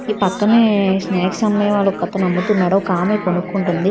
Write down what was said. ఈ పక్కనే స్నాక్స్ అమ్మే వాళ్ళు ఒకతను అమ్ముతున్నారు ఒకామే కొనుక్కుంటుంది.